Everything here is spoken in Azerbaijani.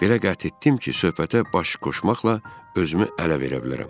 Belə qət etdim ki, söhbətə baş qoşmaqla özümü ələ verə bilərəm.